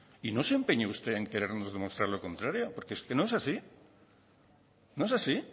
y no se empeñe usted en querernos demostrar lo contrario porque es que no es así no es así